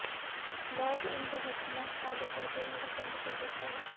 log इन रहस्यमय काले पर्दे यह बंद कर देता है